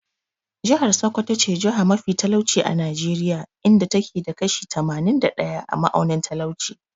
Jihar Sokoto ce jiha mafi talauci a Najeriya, inda ta ke da kashi tamanin da ɗaya a ma'aunin talauci.